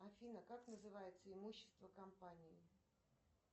афина как называется имущество компании